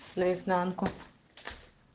наизнанку